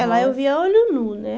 É, lá eu via a olho nu, né?